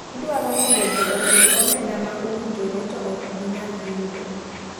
Idwaro mondo ji ochul omenda ma owinjore to ok ginyal yudo.